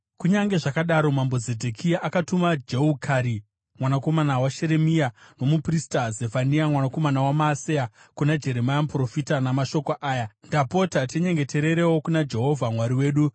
Kunyange zvakadaro, mambo Zedhekia akatuma Jehukari mwanakomana waSheremia, nomuprista Zefania mwanakomana waMaaseya kuna Jeremia muprofita namashoko aya: “Ndapota tinyengetererewo kuna Jehovha Mwari wedu.”